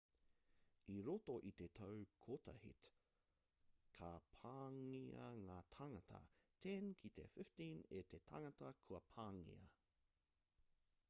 i roto i te tau kotahit ka pāngia ngā tāngata 10 ki te 15 e te tangata kua pāngia